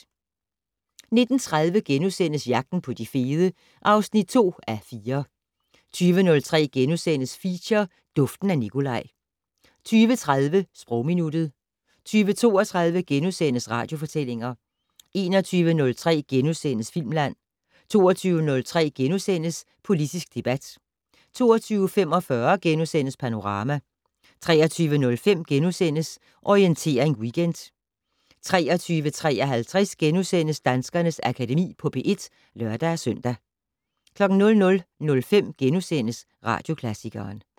19:30: Jagten på de fede (2:4)* 20:03: Feature: Duften af Nicolaj * 20:30: Sprogminuttet 20:32: Radiofortællinger * 21:03: Filmland * 22:03: Politisk debat * 22:45: Panorama * 23:05: Orientering Weekend * 23:53: Danskernes Akademi på P1 *(lør-søn) 00:05: Radioklassikeren *